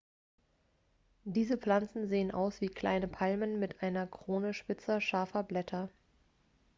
diese pflanzen sehen aus wie kleinen palmen mit einer krone spitzer scharfer blätter